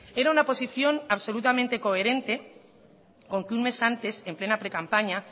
era una posición absolutamente coherente con que un mes antes en plena precampaña